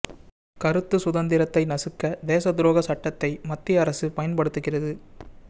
கருத்து சுதந்திரத்தை நசுக்க தேசத் துரோக சட்டத்தை மத்திய அரசு பயன்படுத்துகிறது